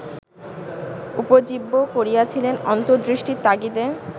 উপজীব্য করিয়াছিলেন অন্তর্দৃষ্টির তাগিদে